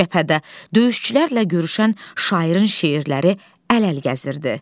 Cəbhədə döyüşçülərlə görüşən şairin şeirləri əl-əl gəzirdi.